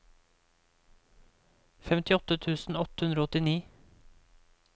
femtiåtte tusen åtte hundre og åttini